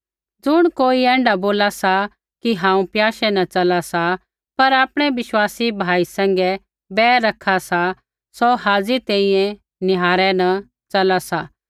ज़ुण कोई ऐण्ढा बोला सा कि हांऊँ प्याशै न च़ला सा पर आपणै बिश्वासी भाई सैंघै बैर रखा सा सौ हाज़ी तैंईंयैं निहारै न च़ला सा